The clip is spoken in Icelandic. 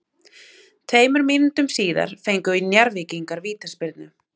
Tveimur mínútum síðar fengu Njarðvíkingar vítaspyrnu.